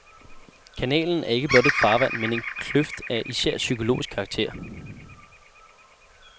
Kanalen er ikke blot et farvand, men en kløft af især psykologisk karakter.